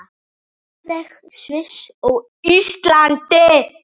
Noreg, Sviss og Ísland.